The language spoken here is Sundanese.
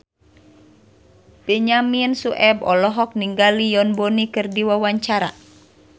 Benyamin Sueb olohok ningali Yoon Bomi keur diwawancara